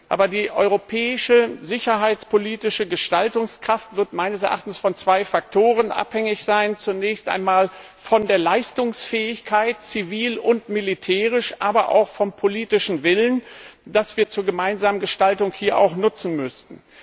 Aber die europäische sicherheitspolitische Gestaltungskraft wird meines Erachtens von zwei Faktoren abhängig sein zunächst einmal von der Leistungsfähigkeit zivil und militärisch aber auch vom politischen Willen, den wir zur gemeinsamen Gestaltung hier auch nutzen müssten.